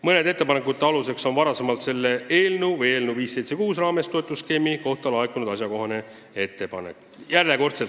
Mõne ettepaneku aluseks on varem eelnõu 576 arutelu raames toetusskeemi kohta laekunud ettepanek.